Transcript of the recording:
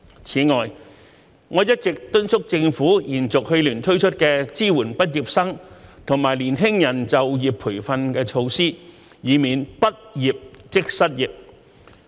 此外，我一直敦促政府延續去年推出的支援畢業生和年輕人就業培訓措施，以免"畢業即失業"。